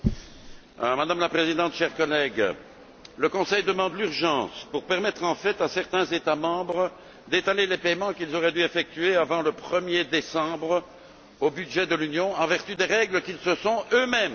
Madame la Présidente, chers collègues, le Conseil demande l'urgence pour permettre en fait à certains États membres d'étaler les paiements qu'ils auraient dû effectuer avant le 1er décembre au budget de l'Union en vertu des règles qu'ils se sont eux mêmes données.